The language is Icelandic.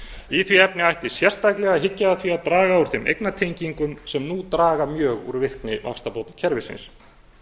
í því efni ætti sérstaklega að hyggja að því að draga úr þeim eignatengingum sem nú draga mjög úr virkni vaxtabótakerfisins